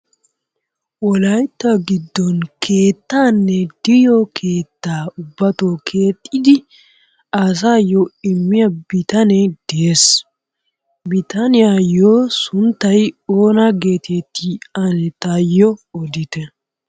Wolaytta giddon keettanne de'iyo keettaa keexxidi asayo immiya bitanee de'ees. Bitaniyayo sunttay oona getetti ane taayo oditte.